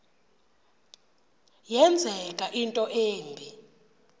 yenzeka into embi